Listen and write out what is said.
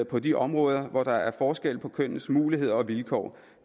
på de områder hvor der er forskel på kønnenes muligheder og vilkår